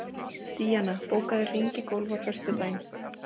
Díanna, bókaðu hring í golf á föstudaginn.